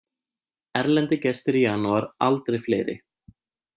Erlendir gestir í janúar aldrei fleiri